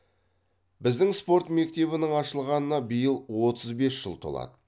біздің спорт мектебінің ашылғанына биыл отыз бес жыл толады